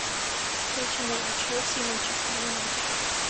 встреча между челси и манчестер юнайтед